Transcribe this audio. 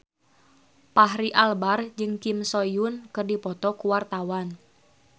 Fachri Albar jeung Kim So Hyun keur dipoto ku wartawan